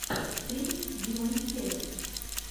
стрим димонстерус